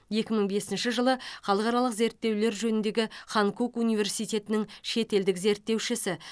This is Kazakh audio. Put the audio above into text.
екі мың бесінші жылы халықаралық зерттеулер жөніндегі ханкук университетінің шетелдік зерттеушісі